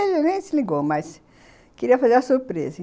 Ele nem se ligou, mas queria fazer a surpresa.